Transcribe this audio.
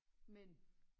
Mænd